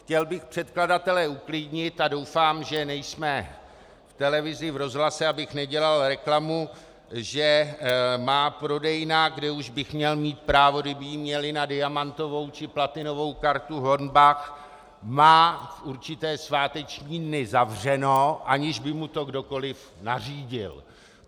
Chtěl bych předkladatele uklidnit a doufám, že nejsme v televizi, v rozhlase, abych nedělal reklamu, že má prodejna, kde už bych měl mít právo, kdyby ji měli, na diamantovou či platinovou kartu Hornbach, má v určité sváteční dny zavřeno, aniž by mu to kdokoliv nařídil.